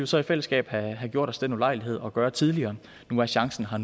så i fællesskab have gjort os den ulejlighed at gøre tidligere nu er chancen her